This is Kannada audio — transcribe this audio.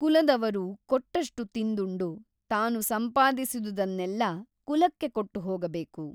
ಕುಲದವರು ಕೊಟ್ಟಷ್ಟು ತಿಂದುಂಡು ತಾನು ಸಂಪಾದಿಸಿದುದನ್ನೆಲ್ಲಾ ಕುಲಕ್ಕೆ ಕೊಟ್ಟು ಹೋಗಬೇಕು.